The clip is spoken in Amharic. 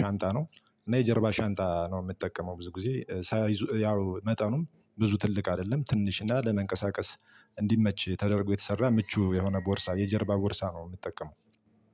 ሻንጣ ነው። እና የጀርባ ሻንጣ ነው ምጠቀመው ብዙ ጊዜ ሳይዙ ያው መጠኑም ብዙ ትልቅ አደለም ትንሽ እና ለመንቀሳቀስ እንዲመች ተደርጎ የተሰራ ምቹ የሆነ ቦርሳ የጀርባ ቦርሳ ነው። ምትጠቀመው